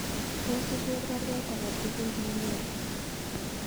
Tos iger baruet agetugul nelelach